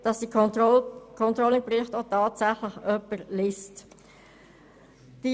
Denn sie wüssten dann, dass diese Berichte tatsächlich von jemandem gelesen werden.